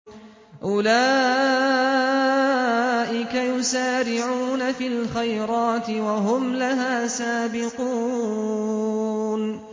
أُولَٰئِكَ يُسَارِعُونَ فِي الْخَيْرَاتِ وَهُمْ لَهَا سَابِقُونَ